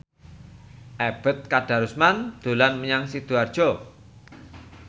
Ebet Kadarusman dolan menyang Sidoarjo